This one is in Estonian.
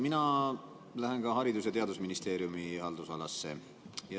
Mina lähen ka Haridus- ja Teadusministeeriumi haldusalasse.